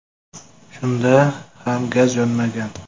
Shunda ham gaz yonmagan.